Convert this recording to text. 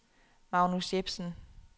Magnus Jepsen